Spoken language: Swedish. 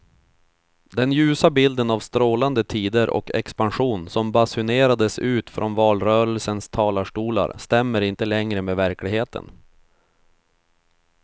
Den ljusa bilden av strålande tider och expansion som basunerades ut från valrörelsens talarstolar stämmer inte längre med verkligheten.